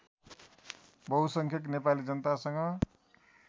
बहुसङ्ख्यक Nepali जनतासँग